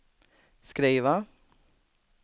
skriva